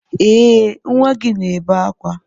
Ee nwa gị na-ebe akwa